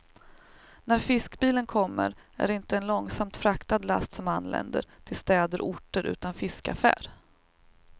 När fiskbilen kommer är det inte en långsamt fraktad last som anländer till städer och orter utan fiskaffär.